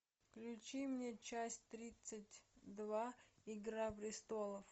включи мне часть тридцать два игра престолов